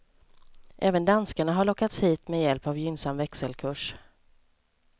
Även danskarna har lockats hit med hjälp av gynnsam växelkurs.